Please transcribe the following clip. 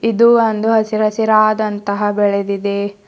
ಇದು ಒಂದು ಹಸಿರ್ ಹಸಿರಾದಂತ ಬೆಳೆದಿದೆ.